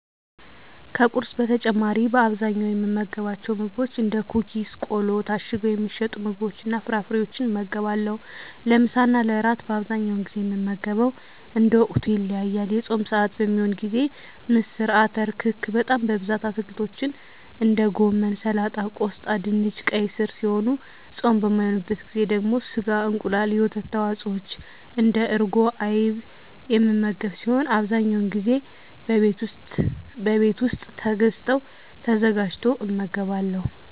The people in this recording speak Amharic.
ከቁርስ በተጨማሪ በአብዛኛው የምመገባቸው ምግቦች እንደ ኩኪስ ቆሎ ታሽገው የሚሸጡ ምግቦችንና ፍራፍሬወችን እመገባለሁ። ለምሳና ለእራት በአብዛኛው ጊዜ የምመገበው እንደ ወቅቱ ይለያያል። የፆም ስዓት በሚሆንበት ጊዜ ምስር አተር ክክ በጣም በብዛት አትክልቶችን እንደ ጎመን ሰላጣ ቆስጣ ድንች ቀይ ስር ሲሆኑ ፆም በማይሆንበት ጊዜ ደግሞ ስጋ እንቁላል የወተት ተዋፅወች እንደ እርጎና አይብ የምመገብ ሲሆን አብዛኛውን ጊዜ በቤት ውስጥ ተገዝተው ተዘጋጅቶ እመገባለሁ።